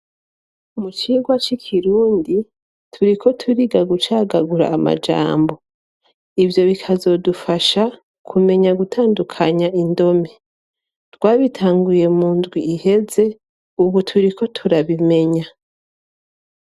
Mu cigwa c'ikirundi turiko turiga gucagagura amajambo, ivyo bikazodufasha kumenya gutandukanya indome, twabitanguye mu ndwi iheze ubu turiko turabimenya.